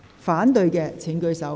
反對的請舉手。